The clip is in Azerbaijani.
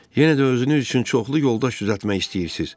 Yenə də özünüz üçün çoxlu yoldaş düzəltmək istəyirsiz.